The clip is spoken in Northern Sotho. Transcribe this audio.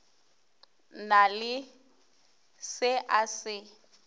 na le se a se